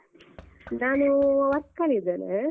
ನಾನೂ work ಅಲ್ಲಿ ಇದ್ದೇನೆ.